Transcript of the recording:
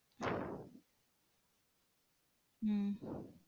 உம்